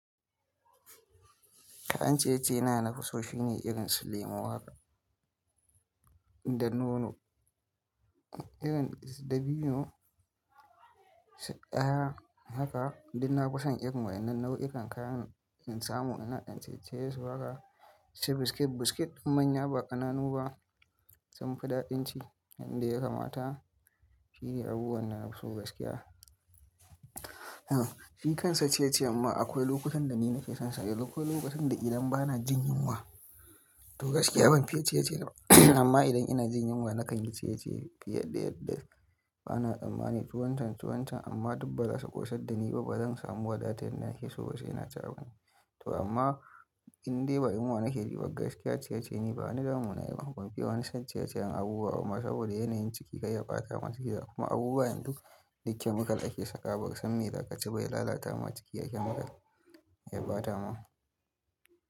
Kayan ciye-ciye na nafuso shine irin su lemu haka, da nono, irin su dabino, su aya haka, duk nafi son irin wa'ennan nau'ikan kayan in samu ina ɗan ciye-ciye su haka, inci biskit-biskit manya ba ƙananu ba, sun fi daɗin ci. Inda ya kamata shine abubuwan da nafi so gaskiya. A'a shi kansa ciye-ciye ma akwai lokutan da ni nake son sa, lokutan da idan ba na jin yunwa. To gaskiya ban fiye ciye-ciye ba amma idan ina jin yunwa na kalli ciye-ciye fiye da yadda ana, tsammani tuwancan-tuwancan amma dub baza su ƙosad da ni ba, ba zan samu wadatadda na ke so ba sai na ci abinci. To amma indai ba yunwa nake ji ba gaskiya ciye-ciye ni ba wani damuna yayi ba. Ban fiye wani san ciye-ciye abubuwa bama saboda yanayin ciki kayya ɓata ma ciki gakuma abubuwa yanzu duk duk chemical ake sakawa baka san me za kaci ba ya lalata ma ciki ga chemical ya ɓata ma.